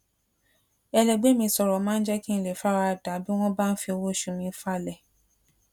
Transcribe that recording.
ẹlẹgbé mi sòrò máa ń jé kí n lè fara da bí wón bá ń fi owó oṣù mi falè